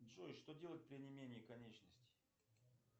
джой что делать при онемении конечностей